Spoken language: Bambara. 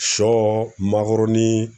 Sɔ makɔrɔni